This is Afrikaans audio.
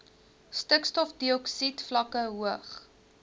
stikstofdioksied vlakke hoog